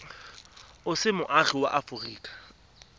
o se moagi wa aforika